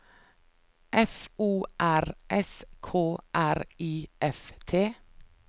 F O R S K R I F T